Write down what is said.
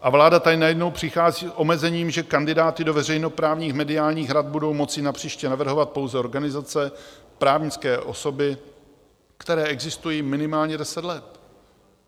A vláda tady najednou přichází s omezením, že kandidáty do veřejnoprávních mediálních rad budou moci napříště navrhovat pouze organizace, právnické osoby, které existují minimálně 10 let.